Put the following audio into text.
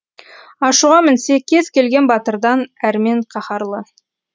ашуға мінсе кез келген батырдан әрмен қаһарлы